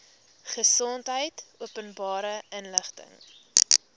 gesondheid openbare inligting